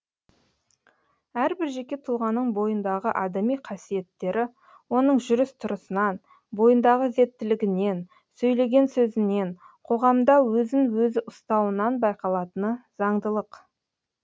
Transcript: әрбір жеке тұлғаның бойындағы адами қасиеттері оның жүріс тұрысынан бойындағы ізеттілігінен сөйлеген сөзінен қоғамда өзін өзі ұстауынан байқалатыны заңдылық